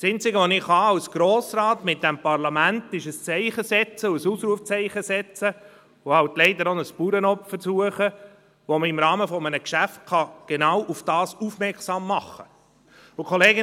Das Einzige, was ich als Grossrat mit diesem Parlament tun kann, ist, ein Zeichen und ein Ausrufezeichen zu setzen, und leider eben auch ein Bauernopfer zu suchen, mit dem man im Rahmen eines Geschäfts genau darauf aufmerksam machen kann.